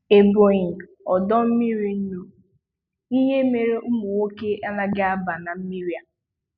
Ebonyi ọdọ mmiri nnu: Ihe mere ụmụnwoke anaghị Aba na mmiri a.